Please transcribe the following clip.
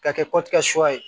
Ka kɛ suya ye